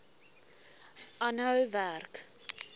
aanhou werk